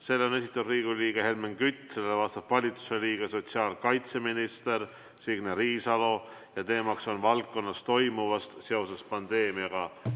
Selle on esitanud Riigikogu liige Helmen Kütt, sellele vastab valitsuse liige sotsiaalkaitseminister Signe Riisalo ja teema on valdkonnas toimuv seoses pandeemiaga.